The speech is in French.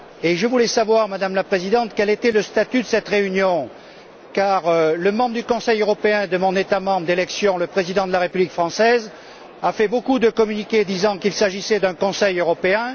Je voulais savoir, Madame la Présidente, quel était le statut de cette réunion, car le membre du Conseil européen de mon État membre d'élection le président de la République française a fait beaucoup de communiqués disant qu'il s'agissait d'un Conseil européen.